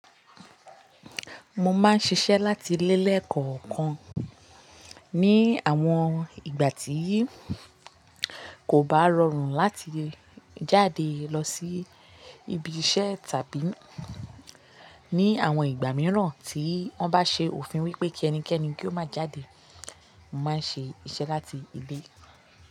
Mo máa ń ṣiṣẹ́ láti ilẹ́ lè kọ̀ọ̀kan. Ni àwọn ìgbà tíì kò bá rọrùn láti jáde lọ sí ibi iṣẹ́ tàbí ní àwọn ìgbà mìíràn tí wọ́n bá ṣe òfin wípé kí ẹnikẹ́ni kí ó má jáde, mo máa ń ṣe iṣẹ́ láti ilé.